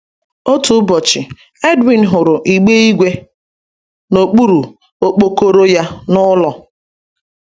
Otu ụbọchị, Edwin hụrụ igbe ígwè n’okpuru okpokoro ya n’ụlọ.